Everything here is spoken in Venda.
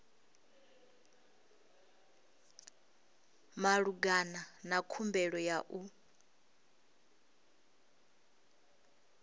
malugana na khumbelo ya u